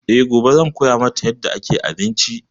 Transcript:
E, gobe zan koya mata yarda ake abinci.